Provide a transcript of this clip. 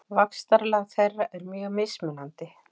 Vaxtarlag þeirra er mjög mismunandi.